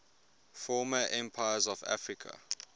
former empires of africa